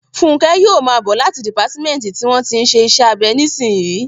Fúnkẹ́ yóò máa bọ̀ láti dìpátímẹ́ǹtì tí wọ́n tí ń ṣe iṣẹ́ abẹ nísìnyí